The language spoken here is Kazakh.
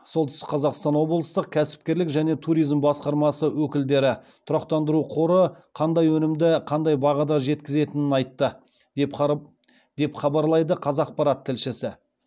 солтүстік қазақстан облыстық кәсіпкерлік және туризм басқармасы өкілдері тұрақтандыру қоры қандай өнімді қандай бағада жеткізетінін айтты деп хабарлайды қазақпарат тілшісі